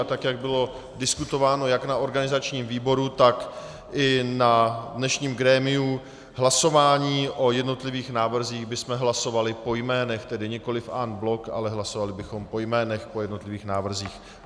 A tak jak bylo diskutováno jak na organizačním výboru, tak i na dnešním grémiu, hlasování o jednotlivých návrzích bychom hlasovali po jménech, tedy nikoliv en bloc, ale hlasovali bychom po jménech, po jednotlivých návrzích.